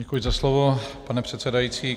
Děkuji za slovo, pane předsedající.